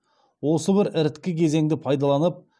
осы бір іріткі кезеңді пайдаланып